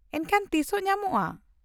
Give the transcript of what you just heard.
-ᱮᱱᱠᱷᱟᱱ ᱛᱤᱥᱚᱜ ᱧᱟᱢᱚᱜᱼᱟ ᱾